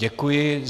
Děkuji.